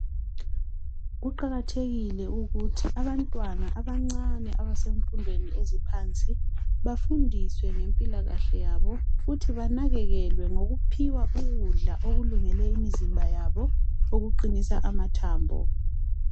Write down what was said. Kuqakathekile ukuthi abantwana abancane abasemfundweni eziphansi bafundiswe ngempilakahle yabo futhi banakekelwe ngokuphiwa ukudla okulungele imizimba yabo okuqinisa amathambo.